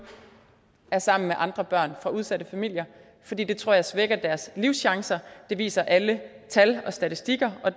er sammen med andre børn fra udsatte familier for det tror jeg svækker deres livschancer det viser alle tal og statistikker og